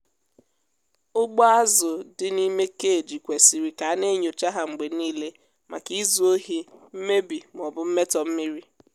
ụgbọ azụ dị n'ime cage kwesịrị ka a na-enyocha ha mgbe niile maka izu ohi mmebi ma ọ bụ mmetọ mmiri.